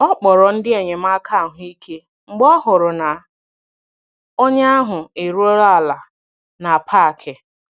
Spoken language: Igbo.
Ọ kpọrọ ndị enyemaka ahụ ike mgbe ọ hụrụ na onye ahụ eruola ala na parki